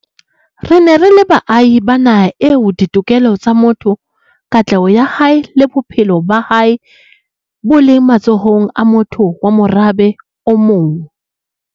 Re ne re le baahi ba naha eo ditokelo tsa motho, katleho ya hae le bophelo ba hae bo leng matsohong a motho wa morabe o mong.